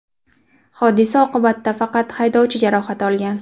Hodisa oqibatida faqat haydovchi jarohat olgan.